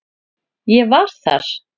Ég var þar